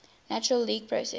natural language processing